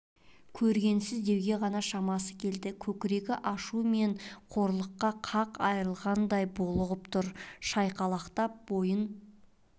көргенсіз деуге ғана шамасы келді көкірегі ашу мен қорлықтан қақ айрылардай булығып тұр шайқалақтап бойын